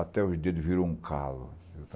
Até os dedos viraram um calo.